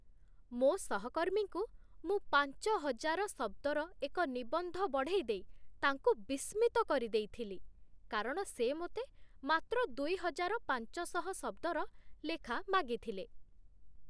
ମୋ ସହକର୍ମୀଙ୍କୁ ମୁଁ ପାଞ୍ଚହଜାର ଶବ୍ଦର ଏକ ନିବନ୍ଧ ବଢ଼େଇଦେଇ ତାଙ୍କୁ ବିସ୍ମିତ କରିଦେଇଥିଲି, କାରଣ ସେ ମୋତେ ମାତ୍ର ଦୁଇହଜାର ପାଞ୍ଚଶହ ଶବ୍ଦର ଲେଖା ମାଗିଥିଲେ।